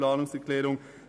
für Bildungsausländer um